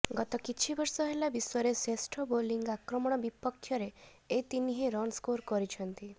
ଗତ କିଛିବର୍ଷ ହେଲା ବିଶ୍ବରେ ଶ୍ରେଷ୍ଠ ବୋଲିଂ ଆକ୍ରମଣ ବିପକ୍ଷରେ ଏ ତିନିହେଁ ରନ୍ ସ୍କୋର୍ କରିଛନ୍ତି